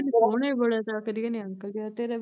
ਕਦੇ ਕਹਿੰਦੀ ਸੋਹਣਾ ਈ ਬੜਾ ਤਾ ਕਦੀ ਕਹਿੰਦੀ ਅੰਕਲ ਜਿਹਾ ਤੇਰਾ ਵੀ